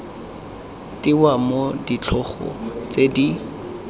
tewa mo ditlhogo tse di